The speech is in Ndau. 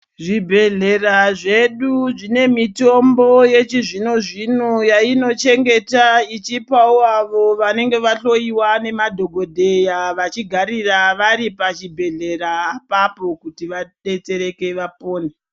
Zvibhedhlera zvedu zvine mitombo yechizvino zvino yainochengeta ichipawo avo vanenge vahloiwa nemadhogodheya vachigarira vari pachibhedhlera apapo kuti vadetsereke vapone.